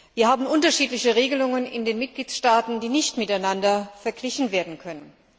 Wir haben unterschiedliche Regelungen in den Mitgliedstaaten, die nicht miteinander verglichen werden können.